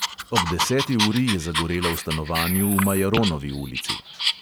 Ob deseti uri je zagorelo v stanovanju v majaronovi ulici.